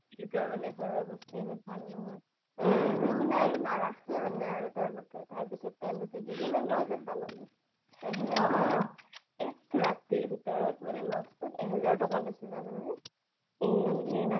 সিহতৰ‌ মানে ঘৰৰ অৱস্থা সিমান ভাল নহয় । তাত নাৰাখে আৰু মনে তেওলোকে তাৰপিছত তেওলোকে কি কৰিলে lodge এটা ল্'লে তৌ সেনেকেই এক ৰাতিত ভিতৰত মানে lodge তোত এক হাজাৰ টকা লৈছে জানানে